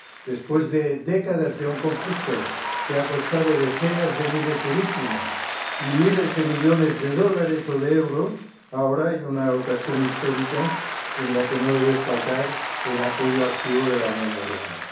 Después de décadas de un conflicto que ha costado decenas de miles de víctimas y miles de millones de dólares o de euros, ahora hay una ocasión histórica en la que no debe faltar el apoyo activo de la Unión Europea.